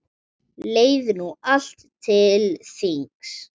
Leið nú allt til þings.